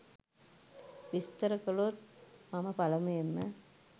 විස්තර කළොත් මම පළමුවෙන්ම